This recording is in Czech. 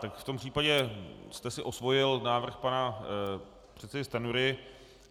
Tak v tom případě jste si osvojil návrh pana předsedy Stanjury.